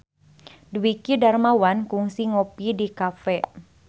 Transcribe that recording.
Dwiki Darmawan kungsi ngopi di cafe